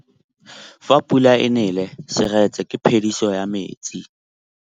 Fa pula e nelê serêtsê ke phêdisô ya metsi.